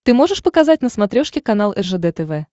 ты можешь показать на смотрешке канал ржд тв